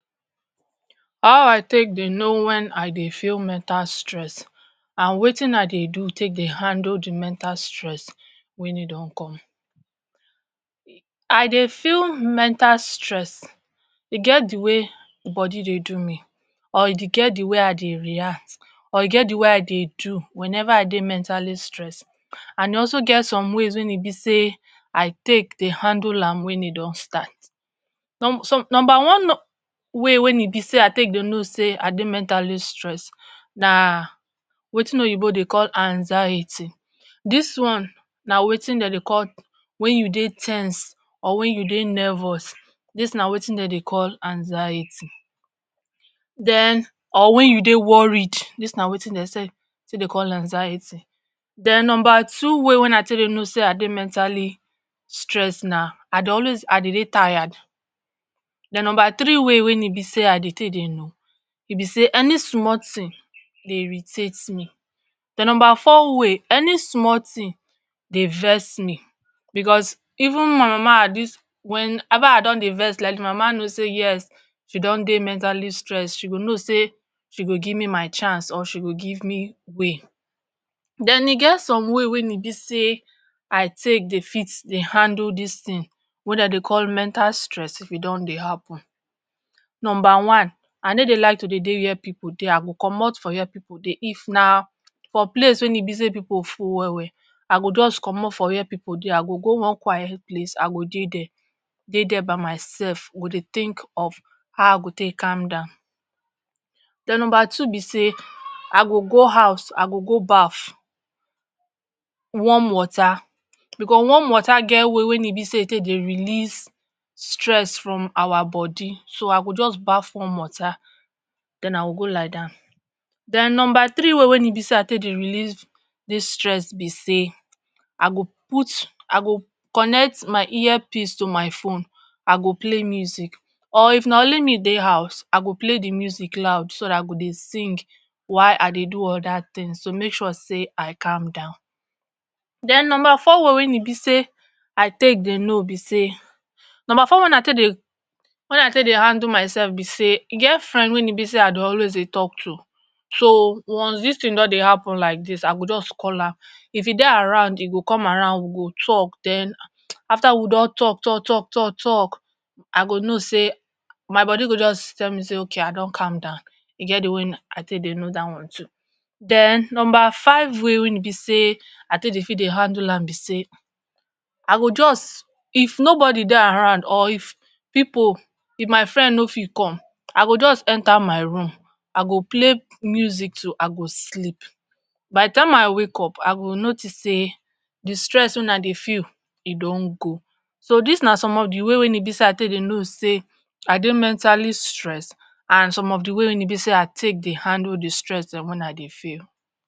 How I take dey know when I dey feel mental stress and wetin I dey do take dey handle de mental stress, when e don come, I dey feel mental stress, e get de way body dey do me or e get de way I dey react or e get de way I dey do whenever I dey mentally stressed and e also get some ways wey e be sey I take dey handle am when e don start. some number one way wey e be sey I take dey know sey I dey mentally stressed na wetin oyinbo dey call anxiety, dis one na wetin dey dey call when you dey ten sed or when you dey nervous dis na wetin dey dey call anxiety, den or when you dey worried dis na wetin dey dey take dey call anxiety. Den number two way wey I take dey know sey I dey mentally stressed na I dey always I dey dey tired. Den number three way wey I take dey know, e be sey any small thing dey irritate me. Den number four way, any small thing dey vex me becos even my mama at dis when ever I don dey vex like dis, my mama know sey yes, she don dey mentally stressed, she go know sey she go give me my chance, or she go give me way. Den e get some way wey e be sey I take dey fit dey handle dis thing wey dey dey call mental stress if e don dey happen. Number one, I no dey like to dey dey where pipu dey, I go comot for where pipu dey. If na for place wey e be sey pipu full well well, I go just comot for where pipu dey, I go go one quiet place, I go dey there, dey there by mysef, go dey think of how I go take calm down. Den number two be sey, I go go house,I go go baff, warm water becos warm water get way wey e be sey e take dey release stress from our body so I go just baff warm water, den I go go lie down. Den number three way wey e be sey I take dey release dis stress be sey I go put, I go connect my earpiece to my fone, I go play music. Or if na only me dey house I go play de music loud so dat I go dey sing while I dey do other things to make sure sey I calm down. Den number four way wey e be sey I take dey know be sey, number four way wey I take dey, wey I take dey handle mysef be sey e get friend wey e be sey I dey always dey talk to, so once dis thing don dey happen like dis, I go just call am, if he dey around, he go come around we go talk, den after we don talk talk talk talk talk I go know sey, my body go just tell me sey ok I don calm down, e get de way I take dey know dat one too. Den number five way wey e be sey I take dey handle am be sey, I go just, if nobody dey around or if pipu if my friend no fit come, I go just enter my room, I go play music till I go sleep, by de time I wake up, I go notice sey de stress wey I dey feel, e don go. So dis na some of de way wey e be sey I dey know sey I dey mentally stressed and some of de way wey e be sey I take dey handle de stress dem wey I dey feel.